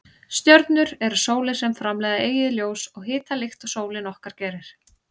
Stjörnur eru sólir sem framleiða eigið ljós og hita líkt og sólin okkar gerir.